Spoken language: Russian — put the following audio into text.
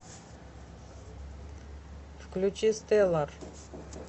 включи стеллар